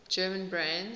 german brands